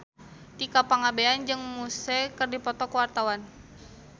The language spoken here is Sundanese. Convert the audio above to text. Tika Pangabean jeung Muse keur dipoto ku wartawan